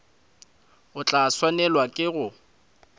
o tla swanelwa ke go